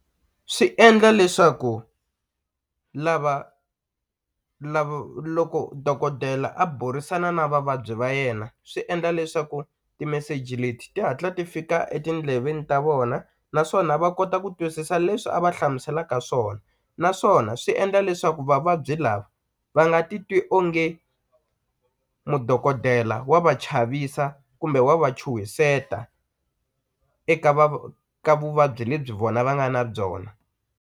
Swi endla leswaku lava lavo loko dokodela a burisana na vavabyi va yena swi endla leswaku timeseji leti ti hatla ti fika etindleveni ta vona naswona va kota ku twisisa leswi a va hlamuselaka swona naswona swi endla leswaku vavabyi lava va nga ti twi onge mudokodela wa va chavisa kumbe wa va chuhiseta eka ka vuvabyi lebyi vona va nga na byona.